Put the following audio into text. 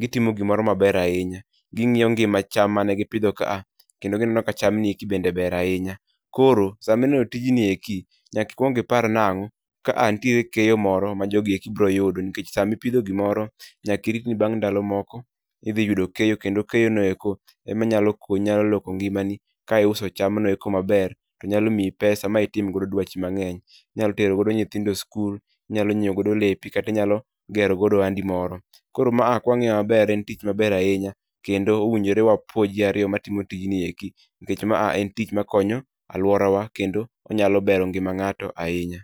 gitimo gimoro maber ahinya. Ging'iyo ngima cham mane gipidho ka a, kendo gineno ka cham nieki bende ber ahinya. Koro, samineno tijni eki nyakikwong ipar nang'o, ka a nitiere keyo moro ma jogieki biro yudo. Nikech samipidho gimoro, nyakirit ni bang' ndalo moko, idhi yudo keyo. Kendo keyo noeko emanyalo konyi, nyalo loko ngimani ka iuso cham noeko maber, to nyalo miyi pesa ma itim godo dwachi mang'eny. Inyalo tero godo nyithindo e skul, inyalo nyiewo godo lepi, katinyalo gero godo ohandi moro. Koro ma a kwang'iyo maber en tich maber ahinya, kendo owinjo wapuo ji ariyo matimo tijni eki. Nikech ma a en tich makonuyo alwora wa kendo onyalo bero ngima ng'ato ahinya.